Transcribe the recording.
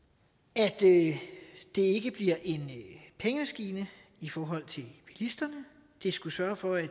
at det ikke bliver en pengemaskine i forhold til bilisterne det skulle sørge for at